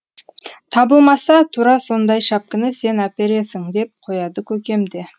табылмаса тура сондай шәпкіні сен әпересің деп қояды көкем де